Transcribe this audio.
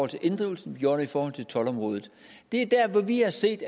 til inddrivelsen vi gjorde det i forhold til toldområdet det er der vi har set